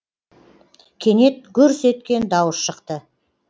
кенет гүрс еткен дауыс шықты